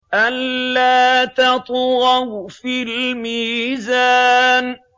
أَلَّا تَطْغَوْا فِي الْمِيزَانِ